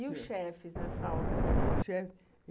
E os chefes, nessa hora? O chefe...